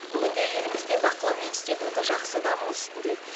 бүгінде елімізде бақылау институты жақсы даму үстінде